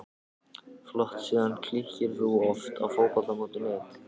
Flott síða Kíkir þú oft á Fótbolti.net?